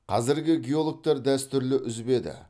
қазіргі геологтар дәстүрлі үзбеді